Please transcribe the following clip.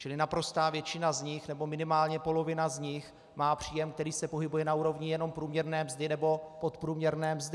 Čili naprostá většina z nich, nebo minimálně polovina z nich má příjem, který se pohybuje na úrovni jenom průměrné mzdy nebo podprůměrné mzdy.